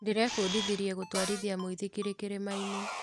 Ndĩrebundithirie gũtwarithia mũithikiri kĩrĩma-inĩ.